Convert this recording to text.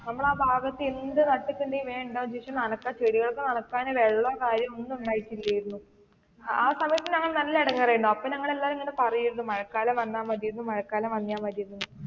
നമ്മടെ ആ ഭാഗത്ത് എന്ത് നട്ടിട്ടുണ്ടെലും വേഗം ഉണ്ടാവും പക്ഷെ നനയ്ക്കാൻ അതിനു ശേഷം ചെടികളും ഒക്കെ നനയ്ക്കാൻ വെള്ളോം കാര്യോം ഒന്നും ഉണ്ടായിട്ടില്ലായിരുന്നു. അഹ് ആ സമയത്തു നല്ല ഇടങ്ങേറായിരുന്നു അപ്പൊ നമ്മൾ ഇങ്ങനെ പറയുമായിരുന്നു മഴ കാലം വന്ന മതിയായിരുന്നു എന്ന്.